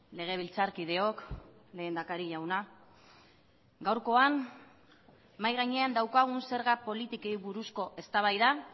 legebiltzarkideok lehendakari jauna gaurkoan mahai gainean daukagun zerga politikei buruzko eztabaida